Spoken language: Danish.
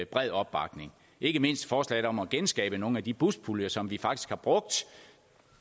bred opbakning ikke mindst forslaget om at genskabe nogle af de buspuljer som vi faktisk har brugt